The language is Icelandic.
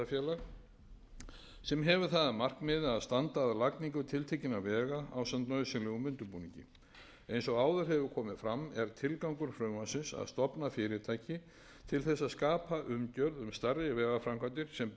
hlutafélag sem hefur það að markmiði að standa að lagningu tiltekinna vega ásamt nauðsynlegum undirbúningi eins og áður hefur komið fram er tilgangur frumvarpsins að stofna fyrirtæki til þess að skapa umgjörð um starf við vegaframkvæmdir sem byggjast á gjaldtöku af notendum